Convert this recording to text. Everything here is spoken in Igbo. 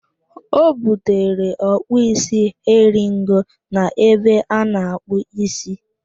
O butere ọkpụ isi eringo n'ebe ana-akpụ ísí